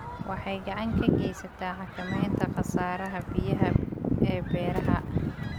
Waxay gacan ka geysataa xakamaynta khasaaraha biyaha ee beeraha.